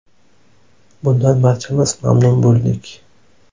Bundan barchamiz mamnun bo‘ldik.